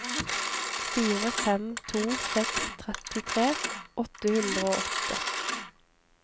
fire fem to seks trettitre åtte hundre og åtte